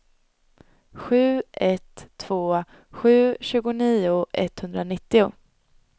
sju ett två sju tjugonio etthundranittio